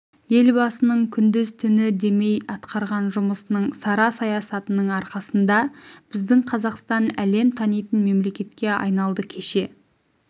елбасының күндіз-түні демей атқарған жұмысының сара саясатының арқасында біздің қазақстан әлем танитын мемлектке айналды кеше